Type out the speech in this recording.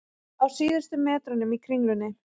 Á síðustu metrunum í Kringlunni